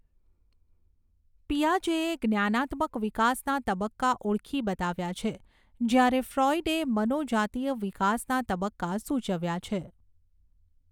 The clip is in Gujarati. પિયાજેએ જ્ઞાનાત્મક વિકાસના તબકકા ઓળખી બતાવ્યા છે જ્યારે ફ્રોઈડે મનોજાતીય વિકાસના તબકકા સૂચવ્યા છે.